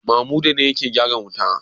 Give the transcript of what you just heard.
Mamuda ne yake gyaran wuta?